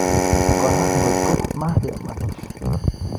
Kora ngot ko makemach